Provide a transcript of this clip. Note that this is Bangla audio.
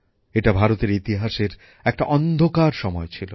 এটা ভারতের ইতিহাসের একটা অন্ধকার সময় ছিল